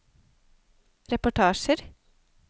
reportasjer